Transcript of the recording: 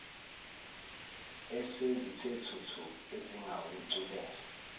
esezithe thuthu ezingakuculela